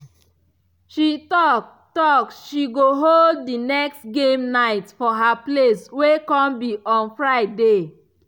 she talk talk say she go hold the next game night for her place wey come be on friday